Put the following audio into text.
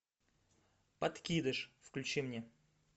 подкидыш включи мне